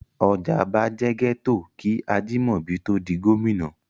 Ọjà'ba jẹ́ gẹ́tò kí Ajimobi tó ó di gómìnà.